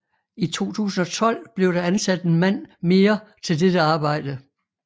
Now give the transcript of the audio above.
I 2012 blev der ansat en mand mere til dette arbejde